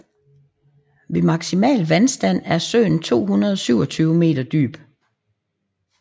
Ved maksimal vandstand er søen 227 meter dyb